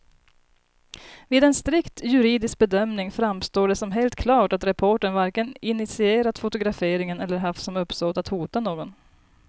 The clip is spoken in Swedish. Vid en strikt juridisk bedömning framstår det som helt klart att reportern varken initierat fotograferingen eller haft som uppsåt att hota någon.